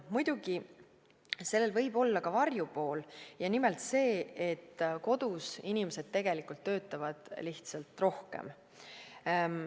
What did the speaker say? Muidugi, sellel võib olla ka varjupool – nimelt see, et kodus inimesed töötavad lihtsalt rohkem.